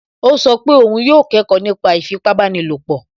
Ó sọ pé òun yóò kẹ́kọ̀ọ́ nípa ìfipábanílòpọ̀